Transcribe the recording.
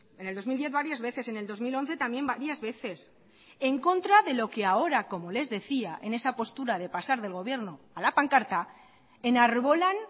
en el dos mil diez varias veces en el dos mil once también varias veces en contra de lo que ahora como les decía en esa postura de pasar del gobierno a la pancarta enarbolan